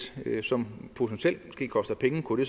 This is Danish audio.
som potentielt koster penge kunne det